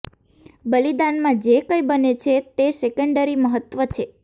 બલિદાનમાં જે કંઇ બને છે તે સેકન્ડરી મહત્વ છે